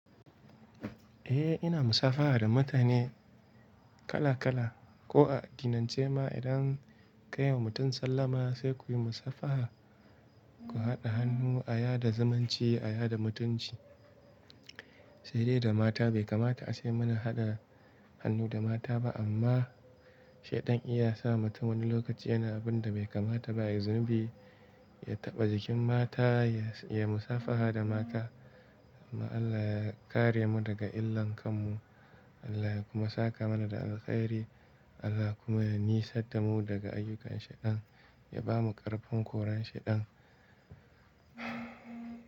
Eh ina musabaha da mutane kala-kala. Ko a addinance ma idan kaiwa mutum sallama sai ku yi musabaha, ku haɗa hannu a sada zamanci sada mutunci. Sai dai da mata bai kamata a ce muna haɗa hannu da mata ba amma Shaiɗan na iya sa wa mutum wani lokaci yana abun da bai kamata ba, yai zunubi, ya taɓa jikin mata, ya musabaha da mata. Allah ya kare mu daga illan kanmu. Allah ya kuma saka mana da alkhairi. Allah kuma ya nisan tamu daga ayyukan Shaiɗan, ya bamu ƙarfin korar Shaiɗan.